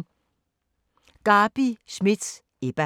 Garbi Schmidt: Ebba